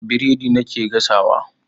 Biredi nake gasawa.